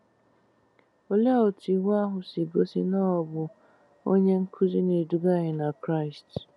Olee otú Iwu ahụ si gosi na o bụ "onye nkuzi na-eduga anyị na Kraịst’?